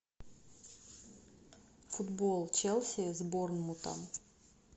футбол челси с борнмутом